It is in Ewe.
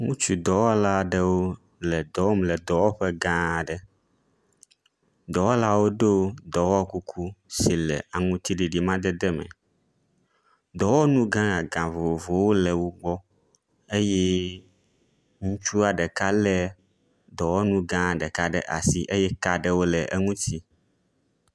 Ŋutsu dɔwɔla aɖewo le dɔ wɔm le dɔwɔƒe gã aɖe. dɔwɔlawo ɖo dɔwɔkuku si le aŋutiɖiɖi amadede me, dɔwɔnu gã gã vovovowo le wo gbɔ eye ŋutsua ɖeka lé dɔwɔnu gã ɖeka ɖe asi eye ka ɖewo le eŋuti.